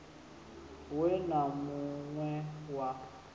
we na mun we wa